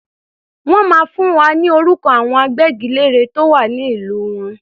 Wọ́n máa fún wa ní orúkọ àwọn agbẹ́gilére tó wà ní ìlú wọn.